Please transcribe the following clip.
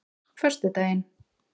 föstudaginn